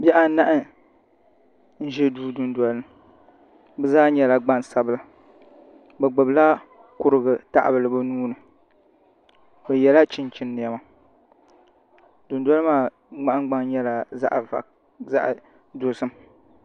Bihi anahi n ʒɛ duu dundolini bɛ zaa nyɛla gbansabla bɛ gbibila kurugu tahabila bɛ nuhini bɛ yela chinchin nema dundolimaa nahingbaŋ nyɛla zaɣa dozim.